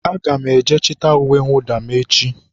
Aga m eje chịta uwe mwụda m echi.